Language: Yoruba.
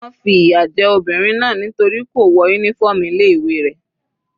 Wọ́n fi ìyà jẹ obìnrin náà nítorí kò wọ uniform ilé ìwé rẹ̀.